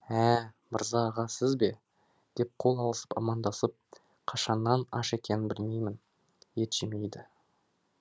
ә мырза аға сіз бе деп қол алысып амандасып қашаннан аш екенін білмеймін ет жемейді